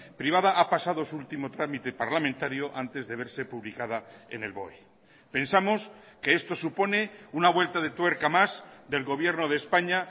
privada ha pasado su último trámite parlamentario antes de verse publicada en el boe pensamos que esto supone una vuelta de tuerca más del gobierno de españa